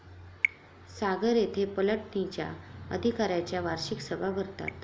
सागर येथे पलटणींच्या अधिकाऱ्यांच्या वार्षिक सभा भरतात.